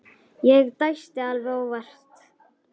Ég dæsti alveg óvart.